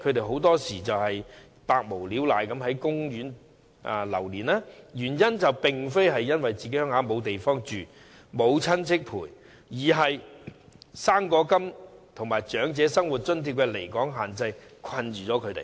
很多時候，他們無所事事，在公園流連，原因並非家鄉沒有地方讓他們居住或沒有親戚陪伴左右，而是因為"生果金"及長者生活津貼的離港限制限制了他們。